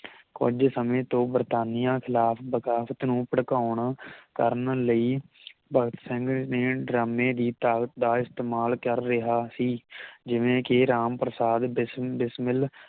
ਕੁਜ ਸਮੇ ਤੋਂ ਬਰਤਾਨੀਆ ਖਿਲਾਫ ਬਗਾਵਤ ਨੂੰ ਭੜਕਾਉਣ ਕਰਨ ਲਈ ਭਗਤ ਸਿੰਘ ਨੇ ਡਰਾਮੇ ਦੀ ਤਾਕਤ ਦਾ ਇਸਤੇਮਾਲ ਕਰ ਰਿਹਾ ਸੀ ਜਿਵੇਂ ਕਿ ਰਾਮ ਪ੍ਰਸਾਦ ਬਿਸ ਬਿਸਮਿਲ